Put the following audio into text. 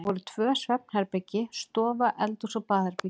Það voru tvö svefnherbergi, stofa, eldhús og baðherbergi.